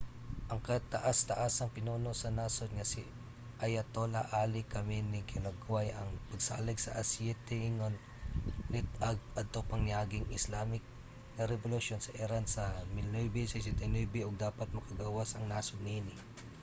ang kataas-taasang pinuno sa nasud nga si ayatollah ali khamenei gihulagway ang pagsalig sa aseite ingon lit-ag adto pang niaging islamic nga rebolusyon sa iran sa 1979 ug dapat makagawas ang nasod niini